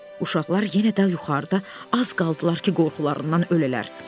Uşaqlar yenə də yuxarıda az qaldılar ki, qorxularından ölələr.